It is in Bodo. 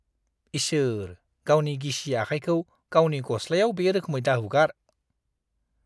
इसोर। गावनि गिसि आखायखौ गावनि गस्लाायाव बे रोखोमै दाहुगार।